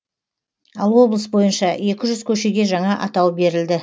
ал облыс бойынша екі жүз көшеге жаңа атау берілді